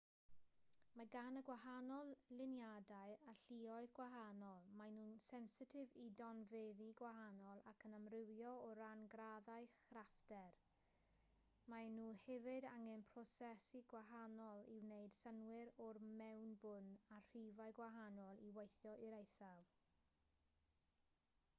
mae gan y gwahanol luniadau alluoedd gwahanol maen nhw'n sensitif i donfeddi gwahanol ac yn amrywio o ran graddau craffter maen nhw hefyd angen prosesu gwahanol i wneud synnwyr o'r mewnbwn a rhifau gwahanol i weithio i'r eithaf